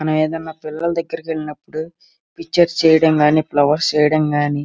మనం ఎవరైనా పిల్లలు దెగ్గర వెళ్ళినప్పుడు పిక్చర్స్ చేయడం గాని ఫ్లవర్స్ చేయడం గాని --